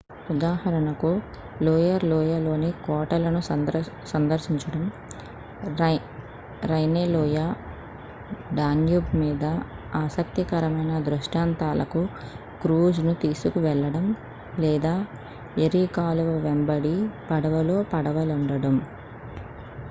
ఉదాహరణకు లోయిర్ లోయలో ని కోటలను సందర్శించడం రైనే లోయ డాన్యూబ్ మీద ఆసక్తికరమైన దృష్టాంతంలకు క్రూజ్ ను తీసుకువెళ్ళడం లేదా ఎరీ కాలువ వెంబడి పడవలో పడవ లుండడం